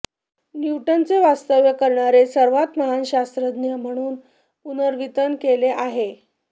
न्यूटनचे वास्तव्य करणारे सर्वात महान शास्त्रज्ञ म्हणून पुनर्वितन केले आहे